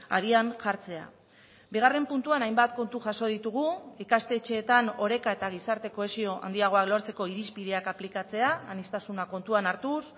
abian jartzea bigarren puntuan hainbat kontu jaso ditugu ikastetxeetan oreka eta gizarte kohesio handiagoa lortzeko irizpideak aplikatzea aniztasuna kontuan hartuz